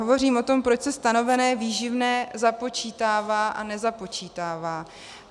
Hovořím o tom, proč se stanovené výživné započítává a nezapočítává.